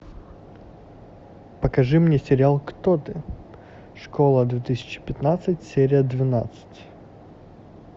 покажи мне сериал кто ты школа две тысячи пятнадцать серия двенадцать